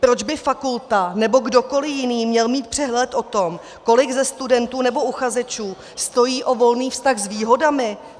Proč by fakulta nebo kdokoli jiný měl mít přehled o tom, kolik ze studentů nebo uchazečů stojí o volný vztah s výhodami?